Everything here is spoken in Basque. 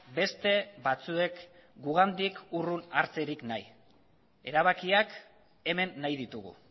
beste batzuek gugandik urrun hartzerik nahi erabakiak hemen nahi ditugu